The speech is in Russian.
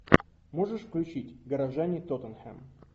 можешь включить горожане тоттенхэм